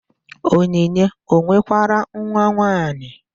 Onyinye o nwekwara nwanwaanyị?